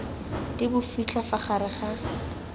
di bofitlha fa gare ga